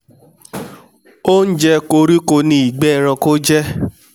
oúnjẹ koríko ni ìgbẹ́ eranko jẹ́